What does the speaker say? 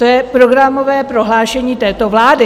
To je programové prohlášení této vlády.